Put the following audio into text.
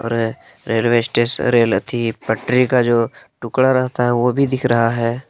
अह railway station rail अथि पटरी का जो टुकड़ा रहता है वो भी दिख रहा है।